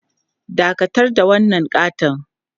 Dakatar da wannan ƙaton!